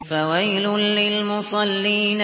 فَوَيْلٌ لِّلْمُصَلِّينَ